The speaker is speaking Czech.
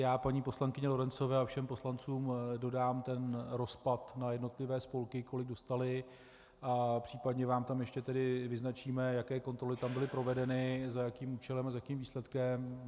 Já paní poslankyni Lorencové a všem poslancům dodám ten rozpad na jednotlivé spolky, kolik dostaly, a případně vám tam ještě tedy vyznačíme, jaké kontroly tam byly provedeny, za jakým účelem a s jakým výsledkem.